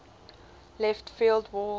left field wall